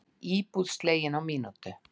Íbúð slegin á mínútu